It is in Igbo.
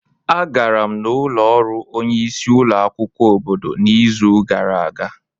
Agara m n'ụlọ ọrụ onye isi ulo akwukwo obodo n'izu gara aga.